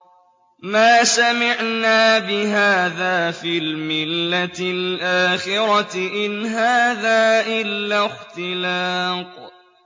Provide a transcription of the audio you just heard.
مَا سَمِعْنَا بِهَٰذَا فِي الْمِلَّةِ الْآخِرَةِ إِنْ هَٰذَا إِلَّا اخْتِلَاقٌ